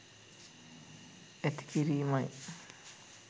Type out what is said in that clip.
ඇති කිරීමයි.